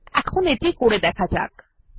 এখন এটি করে দেখা যাক